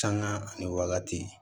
Sanga ani wagati